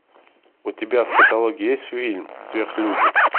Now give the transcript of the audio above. у тебя в каталоге есть фильм сверхлюди